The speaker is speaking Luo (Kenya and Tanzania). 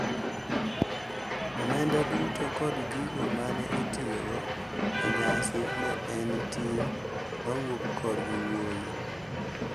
Omenda duto koda gigo ma ne itiyogo e nyasi ne en ting` mawuok korgi wuoyi.